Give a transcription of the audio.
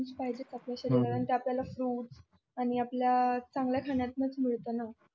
पाहिजेत आपल्या शरीराला ते आपल्याला फ्रुट आणि चांगल्या खाण्यातंच मिळत ना